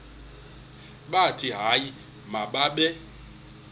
bathi hayi mababe